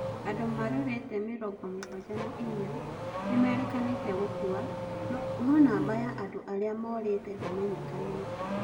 Andũ marũrete mĩrongo mũgwanja na inya nimeirikanite gũkua noo namba ya andũ aria maũrite ndiminyikanite.